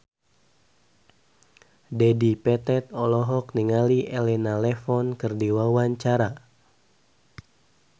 Dedi Petet olohok ningali Elena Levon keur diwawancara